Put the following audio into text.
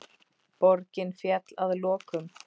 Borgin féll að lokum.